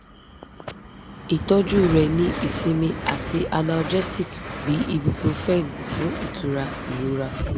itọju re ni isinmi ati analgesic bi ibuprofen fun itura irora